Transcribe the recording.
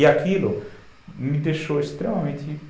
E aquilo me deixou extremamente